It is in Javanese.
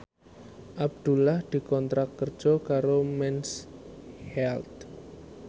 Abdullah dikontrak kerja karo Mens Health